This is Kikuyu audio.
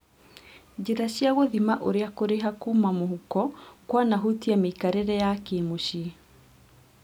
Njĩra cia gũthima ũrĩa kũrĩha kuuma mũhuko kwanahutia mĩikarĩre ya kĩ-mũciĩ